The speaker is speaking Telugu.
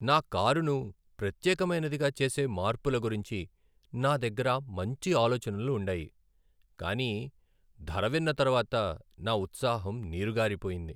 నా కారును ప్రత్యేకమైనదిగా చేసే మార్పుల గురించి నా దగ్గర మంచి ఆలోచనలు ఉండాయి, కానీ ధర విన్న తర్వాత, నా ఉత్సాహం నీరుగారిపోయింది.